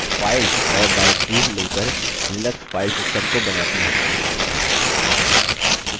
files और directories मिलकर Linux files system को बनाती हैं